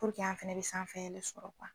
an fɛnɛ bɛ sanfɛ yɛlɛn sɔrɔ